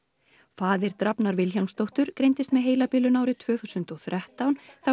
faðir Drafnar Vilhjálmsdóttur greindist með heilabilun árið tvö þúsund og þrettán þá